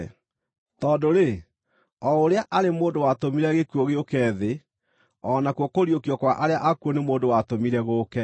Tondũ-rĩ, o ũrĩa arĩ mũndũ watũmire gĩkuũ gĩũke thĩ, o nakuo kũriũkio kwa arĩa akuũ nĩ mũndũ watũmire gũũke.